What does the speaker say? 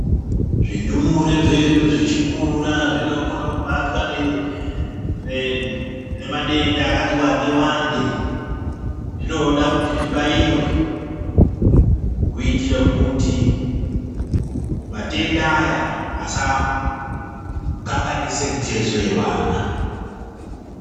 Zvindumure zvedu zvichikura zvinokone kubatwa nemadenda akati wande wande zvinoda kuti zvibaiwe kuitire kuti matenda aya asakanganise mitezo yevana.